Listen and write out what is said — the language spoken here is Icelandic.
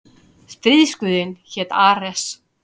Stríðsguðinn hét Ares.